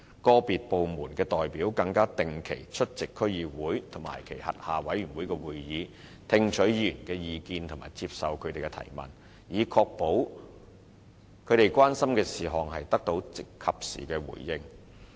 個別部門的代表更會定期出席區議會及其轄下委員會的會議，聽取議員的意見和接受他們的提問，以確保他們關心的事項得到及時回應。